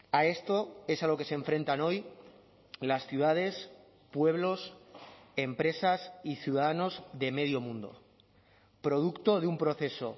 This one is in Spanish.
a esto es a lo que se enfrentan hoy las ciudades pueblos empresas y ciudadanos de medio mundo producto de un proceso